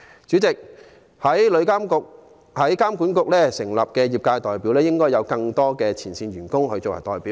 有關旅監局成員的業界代表方面，我們認為應加入更多前線員工作為代表。